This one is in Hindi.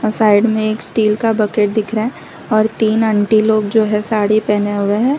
साइड में एक स्टील का बकेट दिख रहा है और तीन आंटी लोग जो है साड़ी पहने हुए हैं।